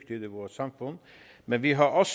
i vores samfund men vi har også